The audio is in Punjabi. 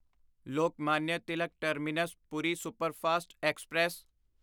Lokmanya Tilak terminus Puri superfast express